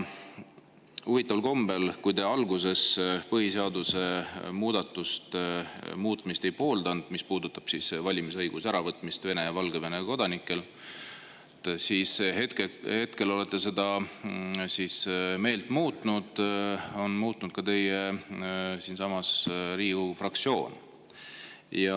Huvitaval kombel, kui te alguses põhiseaduse muutmist ei pooldanud – valimisõiguse äravõtmist Vene ja Valgevene kodanikelt –, siis nüüd olete meelt muutnud ja on muutnud ka teie Riigikogu fraktsioon.